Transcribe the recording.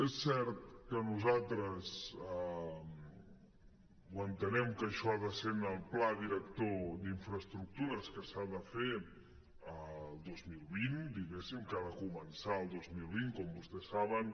és cert que nosaltres entenem que això ha de ser en el pla director d’infraestructures que s’ha de fer el dos mil vint diguéssim que ha de començar el dos mil vint com vostès saben